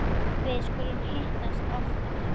Við skulum hittast oftar